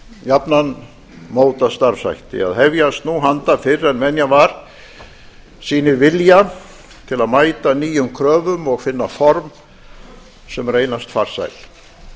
jafnan mótað starfshætti að hefjast nú handa fyrr en venja var sýnir vilja til að mæta nýjum kröfum finna form sem reynast farsæl